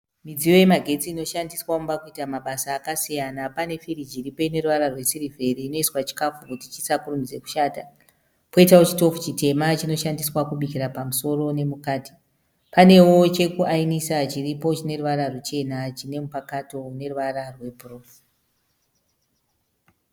Midziyo yemagetsi inoshandiswa mumba kuita mabasa akasiyana. Pane firiji iripo ine ruvara rwesiriveri inoiswa chukafu kuti chisakurumidze kushata. Poitawo chitofu chitema chinoshandiswa kubikira pamusoro nemukati. Panewo chokuayinisa chiripo chine ruvara ruchena chine mupakato une ruvara rwebhuruu.